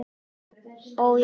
Ó, já.